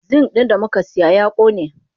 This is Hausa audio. Zink din damukasiya ya kone.